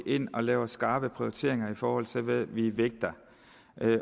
ind og laver skarpe prioriteringer i forhold til hvad vi vægter